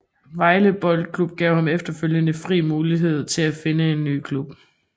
Vejle Boldklub gav ham efterfølgende fri mulighed til at finde en ny klub